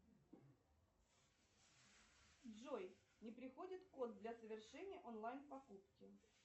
джой не приходит код для совершения онлайн покупки